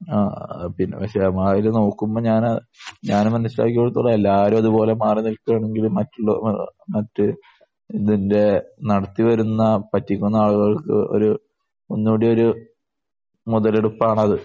ആഹ്. പി പക്ഷെ നോക്കുമ്പോൾ ഞാൻ ഞാൻ അന്ന് മനസ്സിലാക്കിയിടത്തോളം എല്ലാവരും അതുപോലെ മാറി നിൽക്കേണ്ടി വന്നാൽ മറ്റുള്ള മറ്റ് ഇതിന്റെ നടത്തി വരുന്ന പറ്റിക്കുന്ന ആളുകൾക്ക് ഒരു ഒന്നും കൂടി ഒരു മുതലെടുപ്പാണത്.